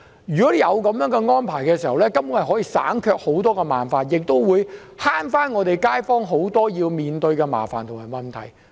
如果有這樣的安排，根本上可以省卻很多麻煩，亦可免卻很多街坊須面對的麻煩及問題。